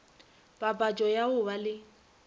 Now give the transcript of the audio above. papatšo ya go ba le